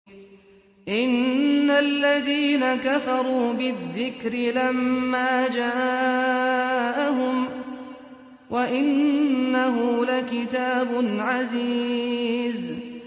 إِنَّ الَّذِينَ كَفَرُوا بِالذِّكْرِ لَمَّا جَاءَهُمْ ۖ وَإِنَّهُ لَكِتَابٌ عَزِيزٌ